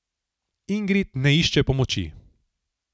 Ingrid ne išče pomoči.